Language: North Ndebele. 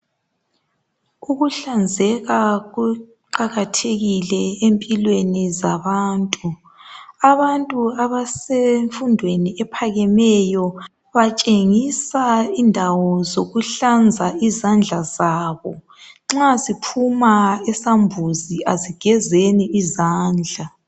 Ukuhlanzeka kuqakathekile empilweni zabantu. Abantu abasemfundweni ephakemeyo, batshengisa ukuhlanza izandla zabo. Nxa siphuma esambuzi asigezeni izandla.